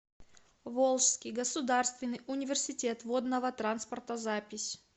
волжский государственный университет водного транспорта запись